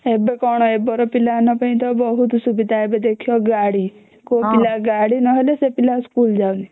ଏବେ କଣ ଏବେର ପିଲା ମାନଙ୍କ ପାଇ ତ ବହୁତ ସୁବିଧା ଏବେ ଦେଖିବ ଗାଡି କୋଉ ପିଲା ଗାଡି ନହଲେ ସେ ପିଲା ସ୍କୁଲ ଯାଉନି